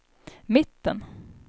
mitten